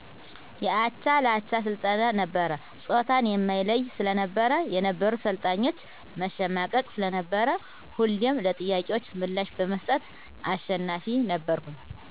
የአቻላቻ ስልጠና ነበር ጾታን የማይለይ ስለነበር የነበሩት ሰልጣኞች መሸማቀቅ ስለነበር ሁሌም ለጥያቄዎች ምላሽ በመስጠት አሸናፊ ነበርኩ።